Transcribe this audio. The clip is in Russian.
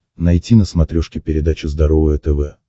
найти на смотрешке передачу здоровое тв